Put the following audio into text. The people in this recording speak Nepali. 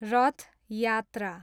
रथ यात्रा